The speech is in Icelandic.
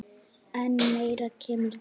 En meira kemur til.